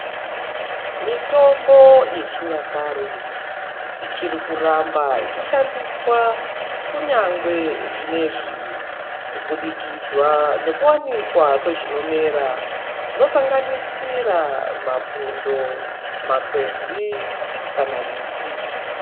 Mitombo yechinyakare ichiri kuramba yechishandiswa kunyangwe zvinezvi kubudikidza ngekuwanikwa kwezvinomera zvinosanganisira mapundo, makwenzi kana miti.